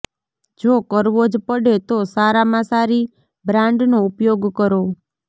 જો કરવો જ પડે તો સારામાં સારી બ્રાન્ડનો ઉપયોગ કરો